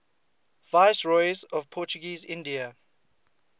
viceroys of portuguese india